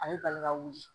Ale balila ka wuli